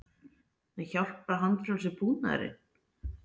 En hjálpar handfrjálsi búnaðurinn?